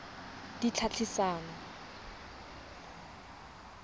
ditlhaeletsano